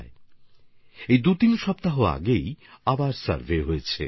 এখন মাত্র দুইতিন সপ্তাহ আগেই একবার সার্ভে হয়েছে